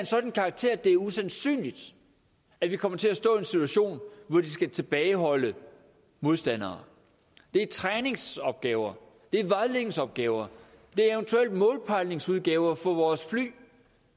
sådan karakter at det er usandsynligt at vi kommer til at stå i en situation hvor de skal tilbageholde modstandere det er træningsopgaver det er vejledningsopgaver det er eventuelt målpejlingsopgaver for vores fly